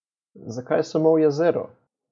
Zakaj samo v jezero?